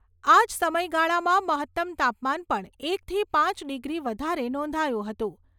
આ જ સમયગાળામાં મહત્તમ તાપમાન પણ એકથી પાંચ ડિગ્રી વધારે નોંધાયું હતું.